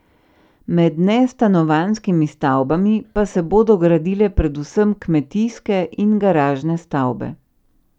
Med nestanovanjskimi stavbami pa se bodo gradile predvsem kmetijske in garažne stavbe.